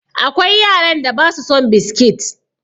Akwai yaran da ba su son biskit.